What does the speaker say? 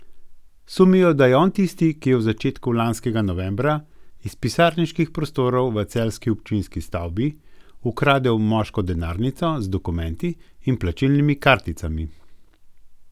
Sumijo, da je on tisti, ki je v začetku lanskega novembra iz pisarniških prostorov v celjski občinski stavbi ukradel moško denarnico z dokumenti in plačilnimi karticami.